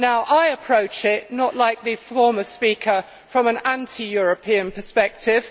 I approach it not like the former speaker from an anti European perspective.